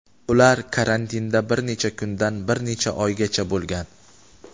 Ular karantinda bir necha kundan bir necha oygacha bo‘lgan.